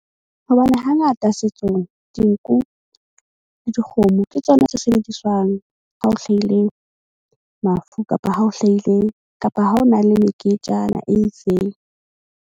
Hobane hangata setsong, dinku le dikgomo ke tsona tse sebediswang. Ha o hlaile mafu kapa ha o hlahile kapa ha o na le meketjana e itseng.